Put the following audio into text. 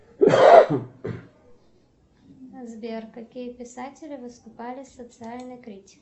сбер какие писатели выступали с социальной критикой